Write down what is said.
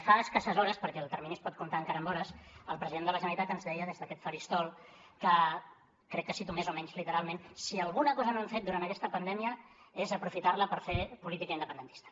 fa escasses hores perquè el termini es pot comptar encara en hores el president de la generalitat ens deia des d’aquest faristol que crec que cito més o menys literalment si alguna cosa no hem fet durant aquesta pandèmia és aprofitar la per fer política independentista